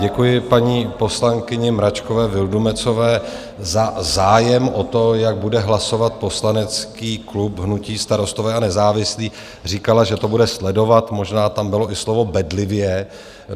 Děkuji paní poslankyni Mračkové Vildumetzové za zájem o to, jak bude hlasovat poslanecký klub hnutí Starostové a nezávislí - říkala, že to bude sledovat, možná tam bylo i slovo bedlivě.